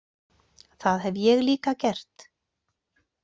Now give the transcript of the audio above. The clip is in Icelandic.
Það hef ég líka gert.